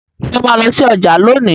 Ṣe o ma lọ sí ọjà lóni?